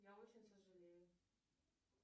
я очень сожалею